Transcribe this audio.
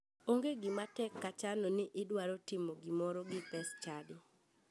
Onge gima tek ka chano ni idwaro timo gimoro gi pes chadi.